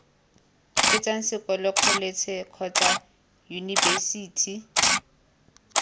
fetsang sekolo kholetšhe kgotsa yunibesithi